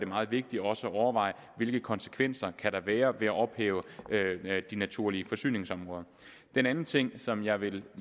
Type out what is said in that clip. meget vigtigt også at overveje hvilke konsekvenser kan være ved at ophæve de naturlige forsyningsområder den anden ting som jeg vil